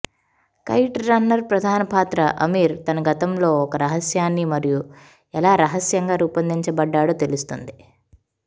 kite runner ప్రధాన పాత్ర అమీర్ తన గతంలో ఒక రహస్యాన్ని మరియు ఎలా రహస్యంగా రూపొందిచబడ్డాడో తెలుస్తుంది